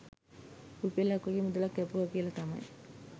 රුපියලක් වගේ මුදලක් කැපුවා කියලා තමයි .